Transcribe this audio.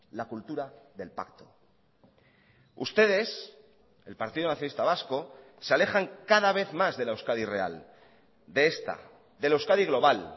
la cultura del pacto ustedes el partido nacionalista vasco se alejan cada vez más de la euskadi real de esta de la euskadi global